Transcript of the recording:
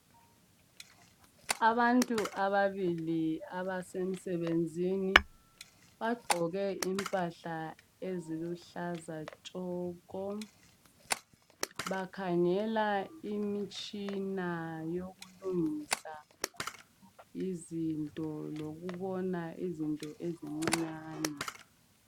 Abantu ababili abasemsebenzini. Bagqoke impahla eziluhlaza tshoko. Bakhangela imitshina yokulungisa izinto, lokubona izinto ezincinyane.